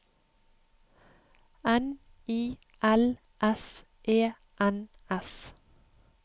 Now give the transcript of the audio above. N I L S E N S